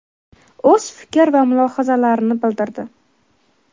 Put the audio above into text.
o‘z fikr va mulohazalarini bildirdi.